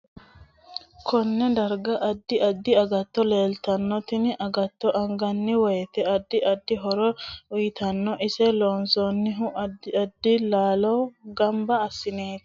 Konne darga addi addi aggatto leelitanno tini agatto anganni woyiite addi addi horo uyiitanno ise loonsoonihu addi addi laalo ganba asineeti